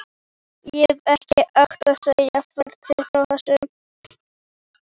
Ég hefði ekki átt að segja þér frá þessu